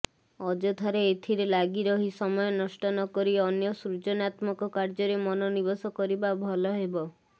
ଅଯଥାରେ ଏଥିରେ ଲାଗି ରହି ସମୟ ନଷ୍ଟ ନକରି ଅନ୍ୟ ସୃଜନାତ୍ମକ କାର୍ଯ୍ୟରେ ମନୋନିବେଶ କରିବା ଭଲ ହେବ